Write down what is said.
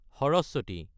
Saraswati (dried up, now under revival)